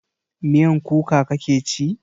Miyan kuka kake ci?